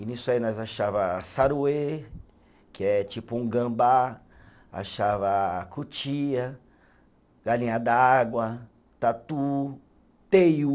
E nisso aí nós achava saruê, que é tipo um gambá, achava cutia, galinha d'água, tatu, teiu.